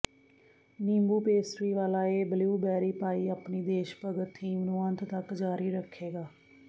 ਨਿੰਬੂ ਪੇਸਟਰੀ ਵਾਲਾ ਇਹ ਬਲਿਊਬੇਰੀ ਪਾਈ ਆਪਣੇ ਦੇਸ਼ਭਗਤ ਥੀਮ ਨੂੰ ਅੰਤ ਤਕ ਜਾਰੀ ਰੱਖੇਗਾ